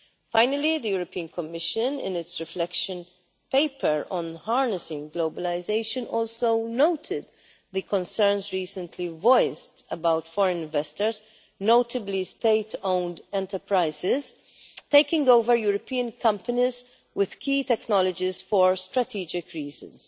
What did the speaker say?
Finally, the Commission, in its reflection paper on harnessing globalisation, also noted the concerns recently voiced about foreign investors, notably state owned enterprises, taking over European companies with key technologies for strategic reasons.